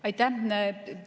Aitäh!